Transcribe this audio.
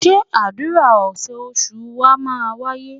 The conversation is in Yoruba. Ṣé àdúrà oṣoòṣù wa máa wáyé?